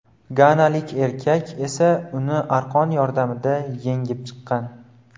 Ganalik erkak esa uni arqon yordamida yengib chiqqan.